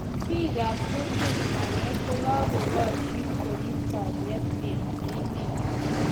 pikap kutit agee kokakokashin korip kaliet eng emet